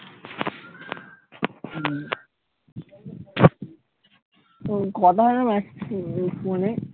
Phone কথা হয় না massage করিস ফোনে?